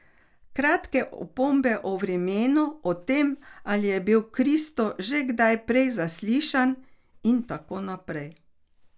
Kratke opombe o vremenu, o tem, ali je bil Kristo že kdaj prej zaslišan, in tako naprej.